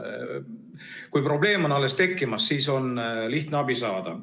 Kui probleem on alles tekkimas, siis on lihtsam abi saada.